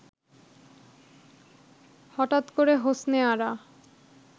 হঠাৎ করে হোসনে আরা